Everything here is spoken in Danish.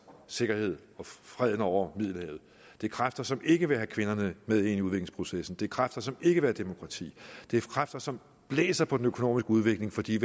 sikkerhed og freden over middelhavet det er kræfter som ikke vil have kvinderne med ind i udviklingsprocessen det er kræfter som ikke vil have demokrati det er kræfter som blæser på den økonomiske udvikling fordi